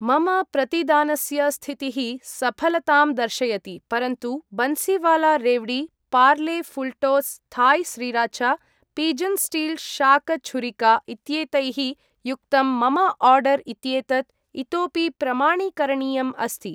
मम प्रतिदानस्य स्थितिः सफलतां दर्शयति, परन्तु Bansiwala revdi , Parle Fulltoss Thai sriracha , Pigeon steel शाक छुरिका इत्येतैः युक्तं मम आर्डर् इत्येतत् इतोपि प्रमाणीकरणीयम् अस्ति।